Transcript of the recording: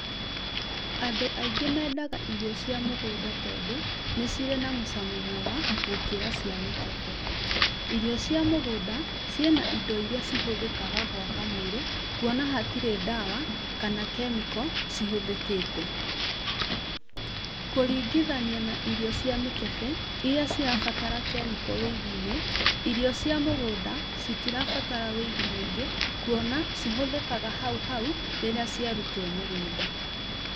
Andũ aingĩ mendaga irio cia mũgũnda tondũ nĩcirĩ na mũcamo mwega gũkĩra cia mĩkebe. Irio cia mũgũnda ciĩna indo iria cihũthĩkaga gwaka mwĩrĩ kũona hatirĩ ndawa kana chemical cihũthĩkĩte. Kũringithania na irio cia mĩkebe iria cirabatara chemical wũigi-inĩ , irio cia mũgũnda citirabatara wũigi mũingĩ kuona cihũthĩkaga hauhau rĩrĩa ciarutwo mũgũnda.